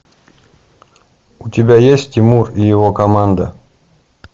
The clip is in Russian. у тебя есть тимур и его команда